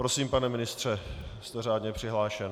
Prosím, pane ministře, jste řádně přihlášen.